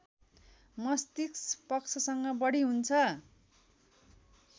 मस्तिष्क पक्षसँग बढी हुन्छ